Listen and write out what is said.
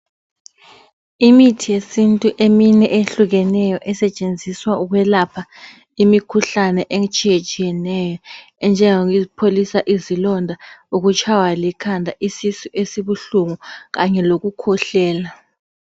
Imithi yesintu emine ehlukeneyo esetshenziswa ukwelapha imikhuhlane etshiyetshiyeneyo enjengokupholisa izilonda, ukutshaywa likhanda, isisu esibuhlungu kanye lokukhwehlela.